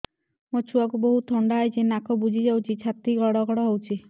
ମୋ ଛୁଆକୁ ବହୁତ ଥଣ୍ଡା ହେଇଚି ନାକ ବୁଜି ଯାଉଛି ଛାତି ଘଡ ଘଡ ହଉଚି